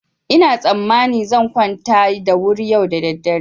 Ina tsammanin zan kwanta da wuri yau da daddare.